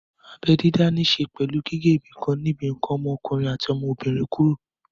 Abẹ́ dídá ní ṣe pẹ̀lú gígé ibìkan níbi ǹkan ọmọkùnrin àti ọmọbìnrin kúrò